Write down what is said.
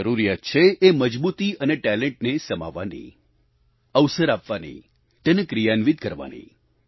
જરૂરિયાત છે એ મજબૂતી અને ટેલેન્ટને સમાવવાની અવસર આપવાની તેને ક્રિયાન્વિત કરવાની